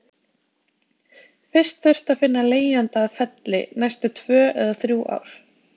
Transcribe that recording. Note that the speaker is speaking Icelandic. Fyrst þurfti að finna leigjanda að Felli næstu tvö eða þrjú ár.